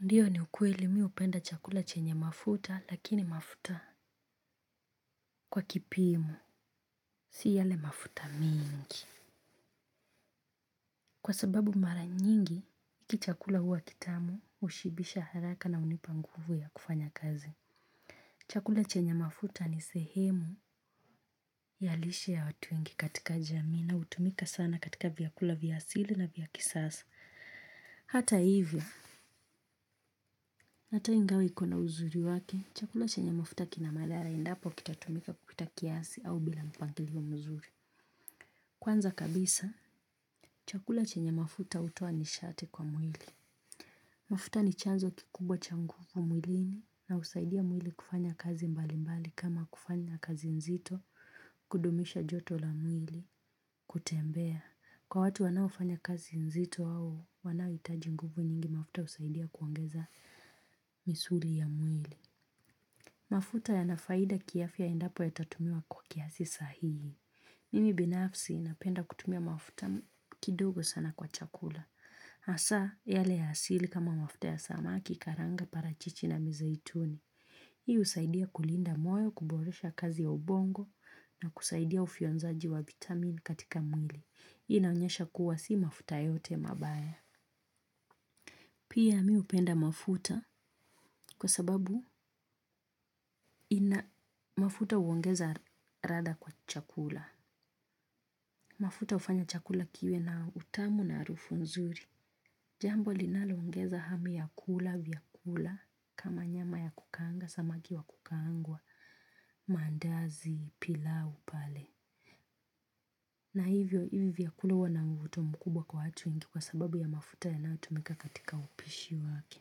Ndiyo ni ukweli miupenda chakula chenye mafuta lakini mafuta kwa kipimu, si yale mafuta mingi. Kwa sababu mara nyingi, iki chakula huwa kitamu ushibisha haraka na unipanguvu ya kufanya kazi. Chakula chenye mafuta ni sehemu ya lishe ya watu wengi katika jamii na utumika sana katika vyakula vya asili na vya kisasa. Hata hivyo, hata ingawa iko na uzuri wake, chakula chenye mafuta kinamadhara endapo kitatumika kupita kiasi au bila mpangilio muzuri. Kwanza kabisa, chakula chenye mafuta utoa nishati kwa mwili. Mafuta ni chanzo kikubwa changuvu mwilini na usaidia mwili kufanya kazi mbali mbali kama kufanya kazi nzito kudumisha joto la mwili kutembea. Kwa watu wanaofanya kazi nzito au, wanao itaji nguvu nyingi mafuta usaidia kuongeza misuli ya mwili. Mafuta ya nafaida kiafia endapo yatatumiwa kwa kiasi sahihi. Mimi binafsi napenda kutumia mafta kidogo sana kwa chakula. Asaa, yale ya asili kama mafuta ya samaki karanga para chichi na mizaituni. Hii usaidia kulinda moyo, kuboresha kazi ya ubongo na kusaidia ufionzaji wa vitamin katika mwili. Inaonyesha kuwa si mafuta yote mabaya. Pia mi upenda mafuta kwa sababu ina mafuta uongeza radha kwa chakula. Mafuta ufanya chakula kiwe na utamu na arufu nzuri. Jambo linalo ongeza hamu ya kula, vyakula, kama nyama ya kukaanga, samaki wa kukaangwa, mandazi, pilau, pale. Na hivyo hivi vyakula ua na mvuto mkubwa kwa hatu wengi kwa sababu ya mafuta yanayotumika katika upishi wake.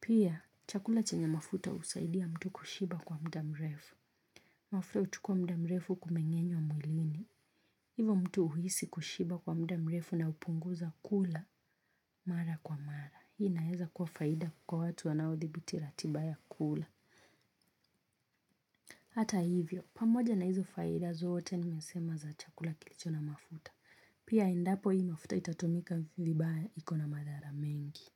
Pia, chakula chenye mafuta usaidia mtu kushiba kwa mdamrefu. Mwafla uchukua mda mrefu kumengenywa mwilini. Hivo mtu uhisi kushiba kwa mda mrefu na upunguza kula mara kwa mara. Hii naeza kua faida kwa watu wanao thibiti ratiba ya kula. Hata hivyo, pamoja na hizo faida zoote nimesema za chakula kilicho na mafuta. Pia endapo hii mafuta itatumika vibaya ikona madhara mengi.